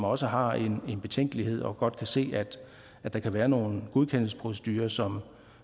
også har en betænkelighed og godt kan se at der kan være nogle godkendelsesprocedurer som